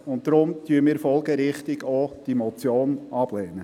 Deshalb lehnen wir, folgerichtig, auch diese Motion ab.